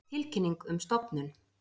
Tilkynning um stofnun.